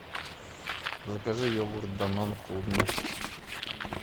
закажи йогурт данон клубничный